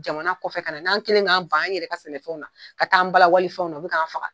Jamana kɔfɛ ka na n'an kɛlen don ka ban an yɛrɛ ka sɛnɛfɛnw na , ka taa an bala wale fɛnw na, u bɛ k'an faga!